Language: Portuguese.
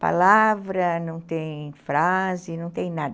palavra, não tem frase, não tem nada.